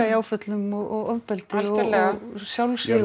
í áföllum og ofbeldi og sjálfsvígum